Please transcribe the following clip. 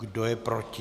Kdo je proti?